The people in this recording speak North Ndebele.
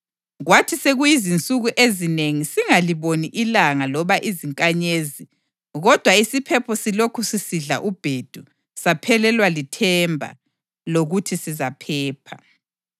Kwathi sekuyizinsuku ezinengi singaliboni ilanga loba izinkanyezi, kodwa isiphepho silokhu sisidla ubhedu, saphelelwa lithemba lokuthi sizaphepha.